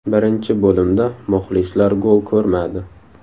Birinchi bo‘limda muxlislar gol ko‘rmadi.